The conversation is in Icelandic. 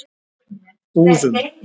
Búðum